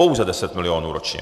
Pouze 10 milionů ročně.